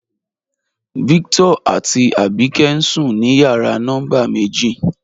Víctọ̀r àtí Àbíkẹ̀ ǹ sùn ní yàrà nọ́mbà mẹ̀jì.